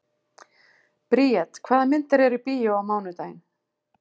Bríet, hvaða myndir eru í bíó á mánudaginn?